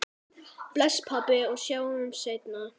Bless, pabbi, og sjáumst seinna.